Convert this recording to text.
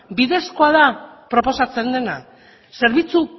bidezkoa da proposatzen dena zerbitzu